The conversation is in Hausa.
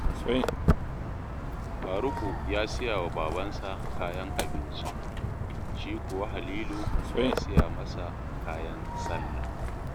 Faruku ya siya wa babansa kayan abinci, shi kuwa Halilu ya siya masa kayan sallah